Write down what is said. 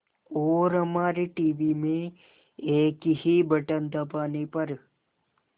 और हमारे टीवी में एक ही बटन दबाने पर